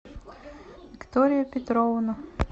виктория петровна